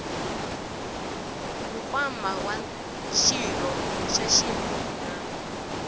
nkwama wa xirho xa xinuna